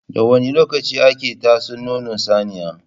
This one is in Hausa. Da wani lokaci ake tatso nono saniya?